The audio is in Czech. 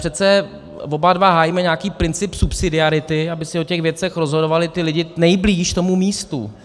Přece oba dva hájíme nějaký princip subsidiarity, aby si o těch věcech rozhodovali ti lidé nejblíž tomu místu.